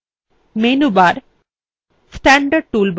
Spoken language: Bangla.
menu bar standard toolbar